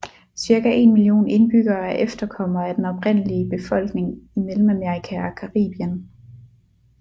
Cirka 1 million indbyggere er efterkommere af den oprindelige befolkning i Mellemamerika og Caribien